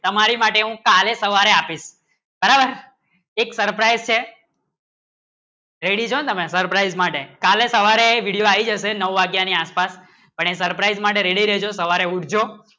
તમ્મરે માટે હું કાલે સવારે આપું બરાબર એક surprise છે રેડી ચો તમે સુરપ્રાઈસે માટે કાલે સવારે વિડિઓ આયી ગયે છે નાઉ વાગ્યાની આસ પાસ પણ એ surprise માટે ready રહેજો સવારે ઊઠજો